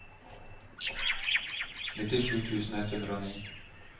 nittisju tusen ett hundre og ni